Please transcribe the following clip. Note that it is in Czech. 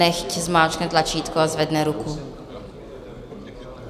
Nechť zmáčkne tlačítko a zvedne ruku.